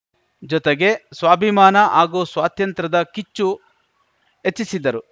ಜೊತೆಗೆ ಸ್ವಾಭಿಮಾನ ಹಾಗೂ ಸ್ವಾತಂತ್ರ್ಯದ ಕಿಚ್ಚು ಹೆಚ್ಚಿಸಿದ್ದರು